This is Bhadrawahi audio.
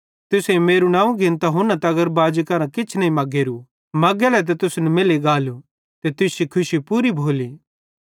तुसेईं मेरू नवं घिन्तां हुना तगर बाजी करां किछ नईं मगेरू मगेले त तुसन मैल्ली गालू ते तुश्शी खुशी पूरी भोली